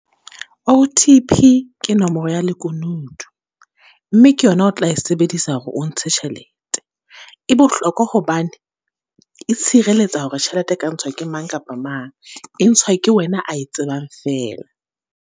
O_T_P ke nomoro ya lekunutu, mme ke yona o tla e sebedisa hore o ntshe tjhelete. E bohlokwa hobane, e tshireletsa hore tjhelete e ka ntshwa ke mang kapa mang. E ntshwa ke wena a e tsebang fela.